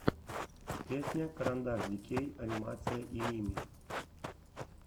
песня карандашдикей анимация и мими